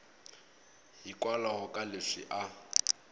hikwalaho ka leswi a a